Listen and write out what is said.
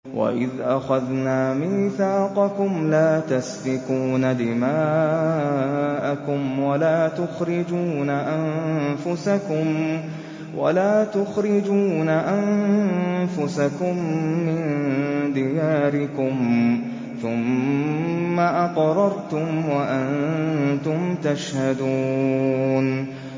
وَإِذْ أَخَذْنَا مِيثَاقَكُمْ لَا تَسْفِكُونَ دِمَاءَكُمْ وَلَا تُخْرِجُونَ أَنفُسَكُم مِّن دِيَارِكُمْ ثُمَّ أَقْرَرْتُمْ وَأَنتُمْ تَشْهَدُونَ